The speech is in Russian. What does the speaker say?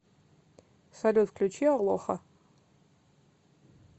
салют включи алоха